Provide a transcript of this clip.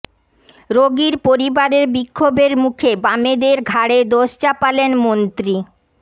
রোগীর পরিবারের বিক্ষোভের মুখে বামেদের ঘাড়ে দোষ চাপালেন মন্ত্রী